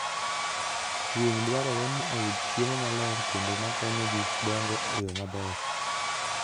Winy dwarore ni oyud chiemo maler kendo makonyogi dongo e yo maber.